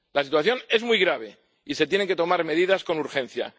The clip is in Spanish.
La situación es muy grave y se tienen que tomar medidas con urgencia.